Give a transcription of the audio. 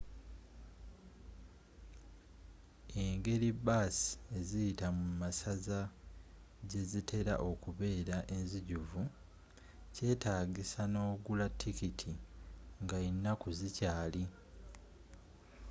engeri baasi eziyita mu masaza gye zitera okubeera enzijuvu kyetaagisa nogula tikiiti nga enaku zikyaali